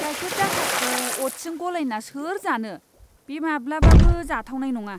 गाइखेर दाखाखौ अ'ट्सजों गलायना सोर जानो? बे माब्लाबाबो जाथावनाय नङा!